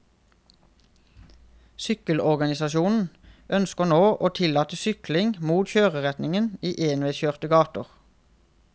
Sykkelorganisasjonen ønsker nå å tillate sykling mot kjøreretningen i enveiskjørte gater.